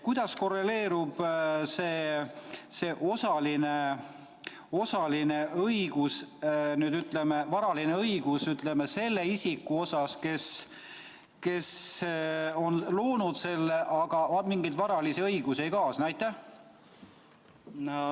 Kuidas korreleerub see osaline varaline õigus selle isikuga, kes on loonud selle, aga kellele sellega mingeid varalisi õigusi ei kaasne?